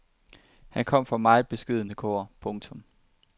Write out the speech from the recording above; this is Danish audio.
Han kom fra meget beskedne kår. punktum